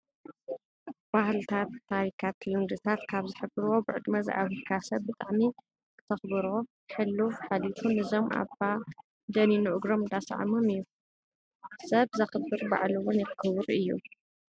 ባህልታትታሪካት ልምድታት ካብ ዝሕብርዎ ብዕድመ ዝዓብየካ ሰብ ብጣዕሚ ክተክብሮን ሕሉፍ ሓሊፉ ንዞም ኣባ ደኒኑ እግሮም እንዳሰኣሞም እዩ። ሰብ ዘክብር ንባዕሉ እውን ክቡር እዩ።